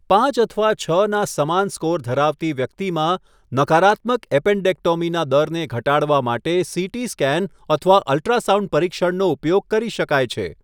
પાંચ અથવા છ ના સમાન સ્કોર ધરાવતી વ્યક્તિમાં, નકારાત્મક એપેન્ડેક્ટોમીના દરને ઘટાડવા માટે સીટી સ્કેન અથવા અલ્ટ્રાસાઉન્ડ પરીક્ષણનો ઉપયોગ કરી શકાય છે.